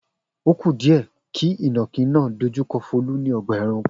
O ku díẹ̀ kí ìnàkí náà dojú kọ Folú ní ọgbà-ẹranko.